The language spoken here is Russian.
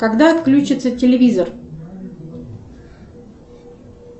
когда отключится телевизор